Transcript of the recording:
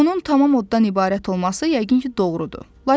Onun tamam oddan ibarət olması yəqin ki, doğrudur.